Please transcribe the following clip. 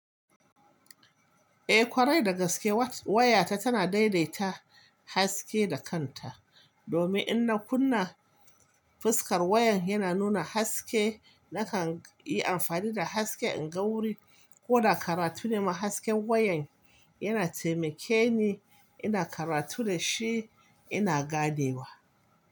Eh ƙwarai da gaske wayata tana daidaita haske da kanta. Domin in na kunna fuskar wayan yana nuna haske, nakan yi amfani da haske in ga wuri ko da karatu ne ma hasken wayan yana taimakeni ina karatu dashi ina ganewa.